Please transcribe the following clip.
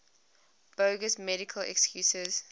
bogus medical excuses